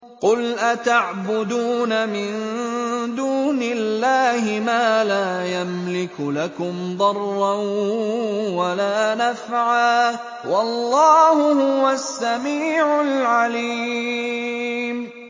قُلْ أَتَعْبُدُونَ مِن دُونِ اللَّهِ مَا لَا يَمْلِكُ لَكُمْ ضَرًّا وَلَا نَفْعًا ۚ وَاللَّهُ هُوَ السَّمِيعُ الْعَلِيمُ